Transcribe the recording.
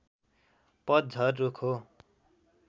पतझर रुख हो